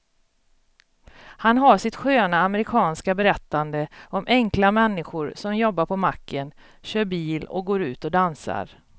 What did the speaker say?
Han har sitt sköna amerikanska berättande om enkla människor som jobbar på macken, kör bil och går ut och dansar.